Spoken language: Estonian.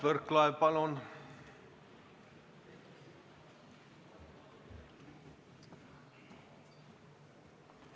Mart Võrklaev, palun!